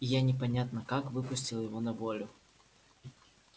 и я непонятно как выпустил его на волю